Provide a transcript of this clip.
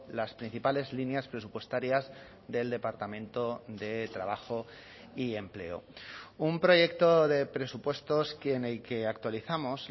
las principales líneas presupuestarias del departamento de trabajo y empleo un proyecto de presupuestos en el que actualizamos